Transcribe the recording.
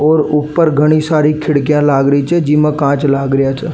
और ऊपर घणी सारी खिड़किया लाग रखी है जीमा कांच लाग रिया छे।